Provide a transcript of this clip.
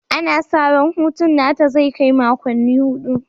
Ana sa ran hutun nata zai kai makonni hudu